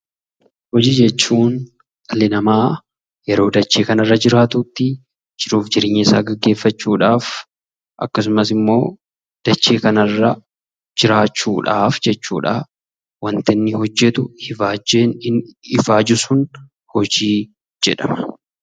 Hojii jechuun dhalli namaa yeroo dachee kanarra jiraatutti jiruuf jireenya isaa gaggeeffachuudhaaf, akkasumas immoo dachee kanarra jiraachuudhaaf jechuudha, waanti inni hojjetu, ifaajjii inni ifaaju sun hojii jedhama.